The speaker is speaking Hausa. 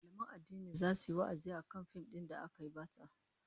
Mallaman addini zasu yi wa'azi akan fim din da aka nuna batsa